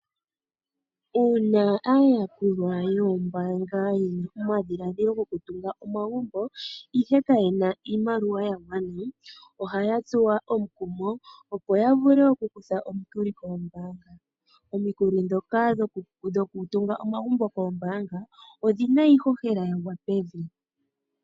Uuna aayakulwa yoombaanga yena omadhiladhilo gokutunga omagumbo ihe kayena iimaliwa ya gwana ohaya tsuwa omukumo opo ya vule okukutha omikuli koombaanga. Omikulo ndhoka dhokutunga omagumbo koombaanga odhina iihohela ya gwa pevi.